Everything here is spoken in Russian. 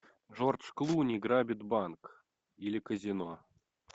джордж клуни грабит банк или казино